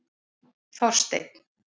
Þorsteinn